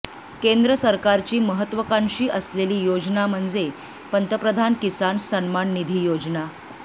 केंद्र सरकारची महत्त्वाकांक्षी असलेली योजना म्हणजे पंतप्रधान किसान सन्मान निधी योजना